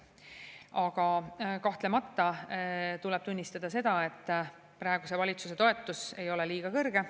Aga kahtlemata tuleb tunnistada seda, et praeguse valitsuse toetus ei ole liiga kõrge.